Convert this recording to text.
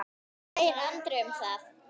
Hvað segir Andri um það?